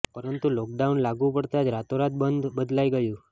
પરંતુ લોકડાઉન લાગુ પડતાં જ રાતોરાત બધું બદલાઈ ગયું